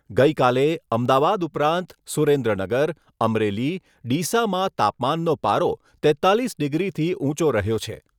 ગઈકાલે અમદાવાદ ઉપરાંત સુરેન્દ્રનગર, અમરેલી, ડીસામાં તાપમાનનો પારો તેત્તાલીસ ડિગ્રીથી ઊંચો રહ્યો છે.